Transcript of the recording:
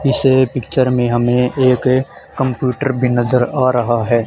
इस पिक्चर में हमें एक कंप्यूटर भी नजर आ रहा है।